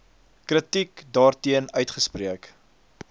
kritiek daarteen uitgespreek